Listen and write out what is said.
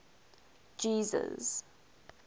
jesus